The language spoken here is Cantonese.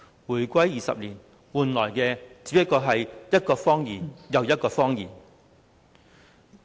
回歸20年，換來的只是一個又一個謊言。